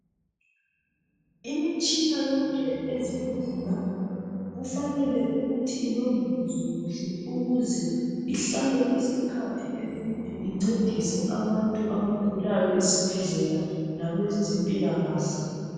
Imitshina yonke ezibhedlela kufanele ukuthi ilondolozwe kuhle ukuze ihlale isikhathi eside incedise abantu abagulayo ezibhedlela labezempilakahle.